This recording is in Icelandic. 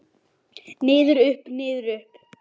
Niður, upp, niður upp.